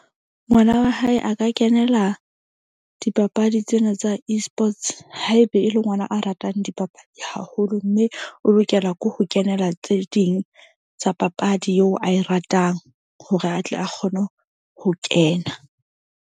Ngwana wa hae a ka kenela dipapadi tsena tsa Esports. Haebe e le ngwana a ratang dipapadi haholo. Mme o lokela ke ho kenela tse ding tsa papadi eo ae ratang hore atle a kgone ho kena.